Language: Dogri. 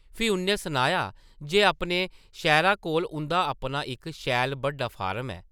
फ्ही उʼन्नै सनाया जे अपने शैह्रा कोल उंʼदा अपना इक शैल बड्डा फार्म ऐ ।